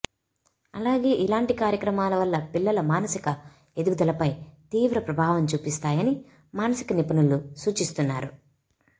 అలాగే ఇలాంటి కార్యక్రమాల వల్ల పిల్లల మానసిక ఎదుగుదలపై తీవ్ర ప్రభావం చూపిస్తాయని మానసిక నిపుణులు సూచిస్తున్నారు